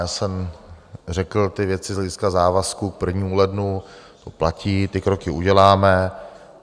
Já jsem řekl ty věci z hlediska závazků, k 1. lednu to platí, ty kroky uděláme.